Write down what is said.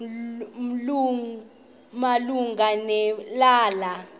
malunga ne lala